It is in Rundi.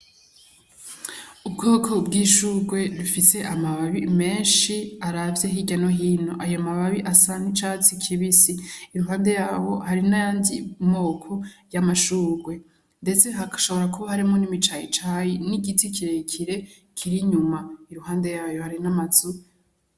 Ubwoko bw'ishurwe rifise amababi menshi aravye hirya no hino. Ayo mababi asa n'icatsi kibisi. Iruhande y'aho hari n'ayandi moko y'amashurwe. Ndetse hashobora kuba hashobora kuba harimwo n'imicayicayi, n'igiti kirekire kiri inyuma. Iruhande yayo hari n'amazu.